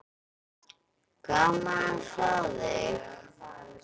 Gaman að sjá þig.